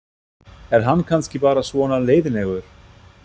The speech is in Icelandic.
Er hann kannski bara svona leiðinlegur?